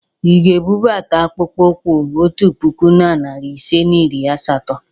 Ị ga-ebubata akpụkpọ ụkwụ otu puku na narị ise na iri asatọ?